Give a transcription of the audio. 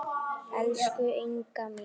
Elsku Inga mín.